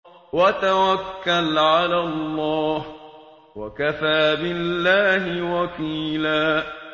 وَتَوَكَّلْ عَلَى اللَّهِ ۚ وَكَفَىٰ بِاللَّهِ وَكِيلًا